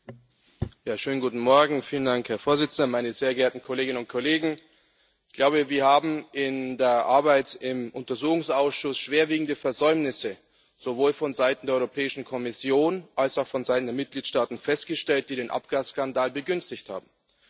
Herr Präsident, Frau Kommissarin, meine sehr geehrten Kolleginnen und Kollegen! Wir haben in der Arbeit im Untersuchungsausschuss schwerwiegende Versäumnisse sowohl vonseiten der Europäischen Kommission als auch vonseiten der Mitgliedstaaten festgestellt, die den Abgasskandal begünstigt haben.